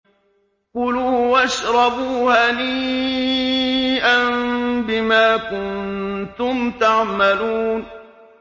كُلُوا وَاشْرَبُوا هَنِيئًا بِمَا كُنتُمْ تَعْمَلُونَ